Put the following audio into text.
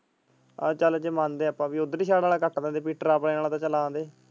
ਹਾਂ ਜੇ ਚਲ ਮੰਨਦੇ ਆ ਆਪਾਂ ਬੀ ਓਧਰਲੀ side ਵਾਲਾ cut ਦਿੰਦੇ ਆਪਣੇ ਆਲਾ ਤੇ ਚਲ ਆਉਣ ਦੇਣ।